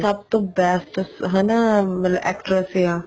ਸਭ ਤੋਂ best ਹਨਾ actress ਆ